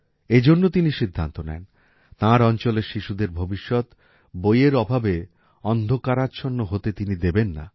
এজন্য তিনি সিদ্ধান্ত নেন তাঁর অঞ্চলের শিশুদের ভবিষ্যৎ বইয়ের অভাবে অন্ধকারাচ্ছন্ন হতে তিনি দেবেন না